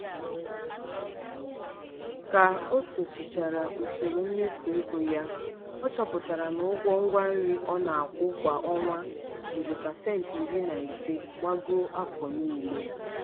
ka o sochichara usoro mmefu ego ya ọ chọpụtara na ụgwọ ngwa nri ọ na-akwụ kwa ọnwa jiri pasenti iri na ise gbagoo afọ niile.